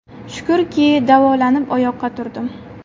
Shukurki, davolanib oyoqqa turdim.